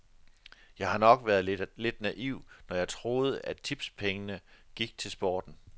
Jeg har nok været lidt naiv, når jeg troede, at tipspengene gik til sporten.